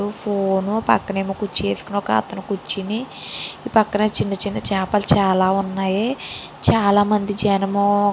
phone పేక్కన నేమో కుర్చీ వేసుకొని ఒక అతను కుర్చీని పేకనే చిన్న చిన్న చాపలు చాలా ఉన్నాయి పక్కన ఏమో జనము --